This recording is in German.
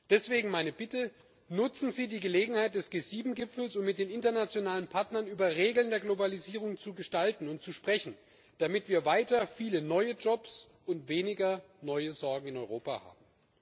Deswegen meine Bitte Nutzen Sie die Gelegenheit des G7 Gipfels, um mit den internationalen Partnern Regeln der Globalisierung zu gestalten und über sie zu sprechen, damit wir weiter viele neue Jobs und weniger neue Sorgen in Europa haben.